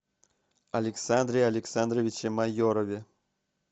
александре александровиче майорове